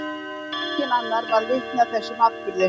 Enginn annar varð vitni að þessum atburði.